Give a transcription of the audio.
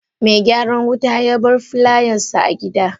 Me gyaran wuta yabar filayansa a gidna.